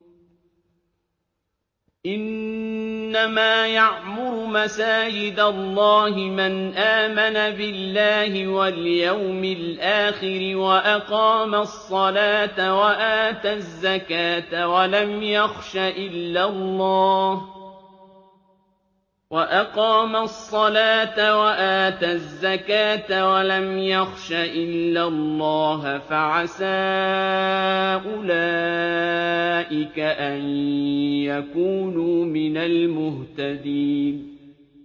إِنَّمَا يَعْمُرُ مَسَاجِدَ اللَّهِ مَنْ آمَنَ بِاللَّهِ وَالْيَوْمِ الْآخِرِ وَأَقَامَ الصَّلَاةَ وَآتَى الزَّكَاةَ وَلَمْ يَخْشَ إِلَّا اللَّهَ ۖ فَعَسَىٰ أُولَٰئِكَ أَن يَكُونُوا مِنَ الْمُهْتَدِينَ